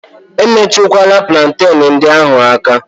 E metụkwala plantenu ndị ahụ aka!